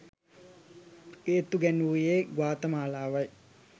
ඒත්තු ගැන්වූයේ ග්වාතමාලාවයි